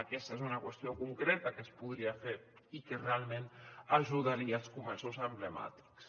aquesta és una qüestió concreta que es podria fer i que realment ajudaria els comerços emblemàtics